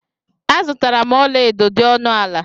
Azutara m ọla edo dị ọnụ ala.